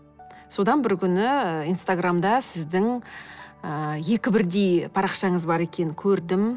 содан бір күні инстаграмда сіздің ы екі бірдей парақшаңыз бар екенін көрдім